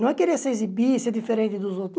Não é querer se exibir, ser diferente dos outros.